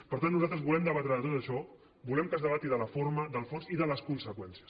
per tant nosaltres volem debatre tot això volem que es debati la forma el fons i les conseqüències